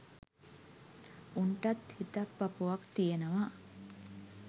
උන්ටත් හිතක් පපුවක් තියනවා.